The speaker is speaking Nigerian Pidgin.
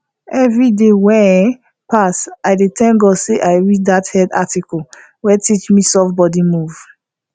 every day wey um pass i dey thank god say i read that health article wey teach me soft body move